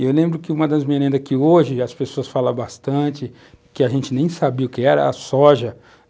E eu lembro que uma das merendas que hoje as pessoas falam bastante, que a gente nem sabia o que era, a soja.